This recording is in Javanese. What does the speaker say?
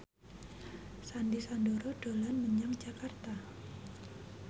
Sandy Sandoro dolan menyang Jakarta